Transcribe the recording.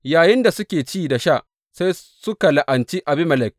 Yayinda suke ci da sha, sai suka la’anci Abimelek.